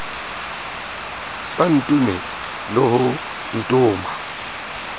sa ntome le ho ntoma